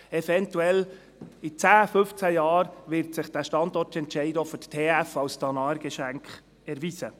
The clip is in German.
Eventuell in zehn, fünfzehn Jahren wird sich dieser Standortentscheid auch für die TF als Danaergeschenk erweisen.